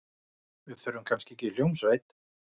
Við þurfum kannski ekki hljómsveit.